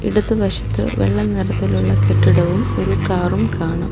ഇടത് വശത്ത് വെള്ള നിറത്തിലുള്ള കെട്ടിടവും ഒരു കാറും കാണാം.